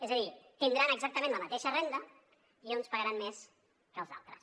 és a dir tindran exactament la mateixa renda i uns pagaran més que els altres